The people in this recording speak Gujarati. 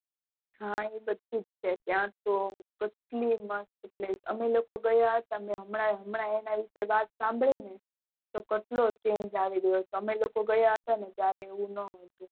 હા એ બધુજ છે ત્યાં તો કટલી મસ્ત place અમે લોકો ગયા હતા મેં હમણાં એની વિષે વાત સાંભળી ને તો કેટલો change આવી રયો તો અમે ઓકો ગયા ને ત્યારે એવું નોતું